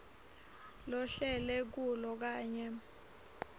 lohlele kulo kanye